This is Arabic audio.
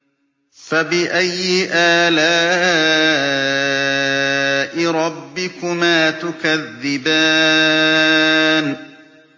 فَبِأَيِّ آلَاءِ رَبِّكُمَا تُكَذِّبَانِ